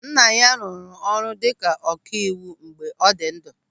Nna ya rụrụ ọrụ dịka ọkaiwu mgbe ọ dị ndụ.